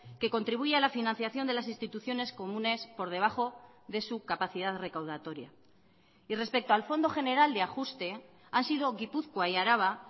que contribuye a la financiación de las instituciones comunes por debajo de su capacidad recaudatoria y respecto al fondo general de ajuste han sido gipuzkoa y araba